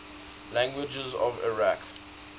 languages of iraq